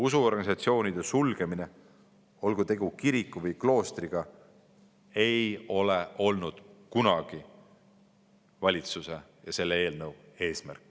Usuorganisatsioonide sulgemine, olgu tegu kiriku või kloostriga, ei ole kunagi olnud valitsuse eesmärk.